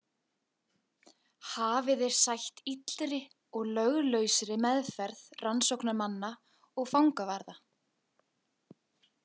Hafi þeir sætt illri og löglausri meðferð rannsóknarmanna og fangavarða.